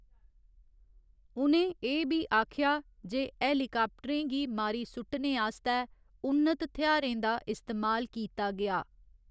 उ'नें एह् बी आखेआ जे हेलीकाप्टरें गी मारी सुट्टने आस्तै उन्नत थेयारें दा इस्तेमाल कीता गेआ।